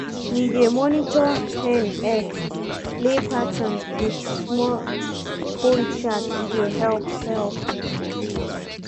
we dey monitor hen egg-lay pattern with small phone chart e dey help. help.